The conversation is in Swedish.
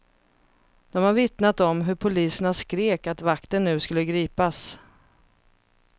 De har vittnat om hur poliserna skrek att vakten nu skulle gripas.